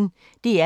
DR P1